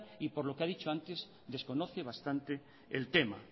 y por lo que ha dicho antes desconoce bastante el tema